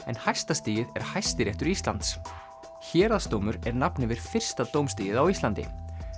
en hæsta stigið er Hæstiréttur Íslands héraðsdómur er nafn yfir fyrsta dómstigið á Íslandi